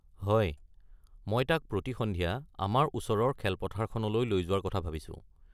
হয়, মই তাক প্ৰতি সন্ধিয়া আমাৰ ওচৰৰ খেলপথাৰখনলৈ লৈ যোৱাৰ কথা ভাবিছোঁ।